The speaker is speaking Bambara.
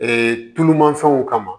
Ee tulumafɛnw kama